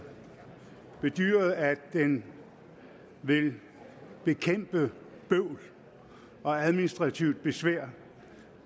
bedyret at den vil bekæmpe bøvl og administrativt besvær